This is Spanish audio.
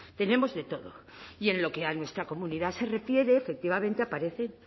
tenemos de todo y en lo que a nuestra comunidad se refiere efectivamente aparecen